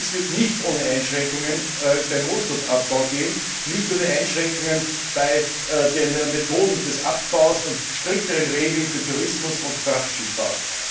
Dies wird aber nicht ohne Einschränkungen beim Rohstoffabbau gehen, nicht ohne Einschränkungen bei den Methoden des Abbaus und strikteren Regeln für Tourismus und Frachtschifffahrt.